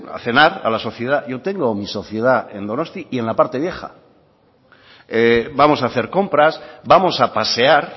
a cenar a la sociedad yo tengo mi sociedad en donostia y en la parte vieja vamos a hacer compras vamos a pasear